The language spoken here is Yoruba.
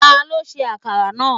Ta ló ṣe akara náà?